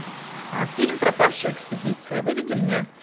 фильм пропавшая экспедиция выведи мне